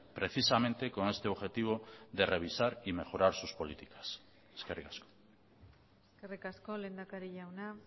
precisamente con este objetivo de revisar y mejorar sus políticas eskerrik asko eskerrik asko lehendakari jauna